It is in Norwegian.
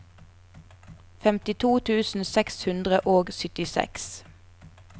femtito tusen seks hundre og syttiseks